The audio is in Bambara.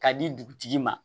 K'a di dugutigi ma